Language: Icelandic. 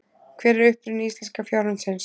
Hver er uppruni íslenska fjárhundsins?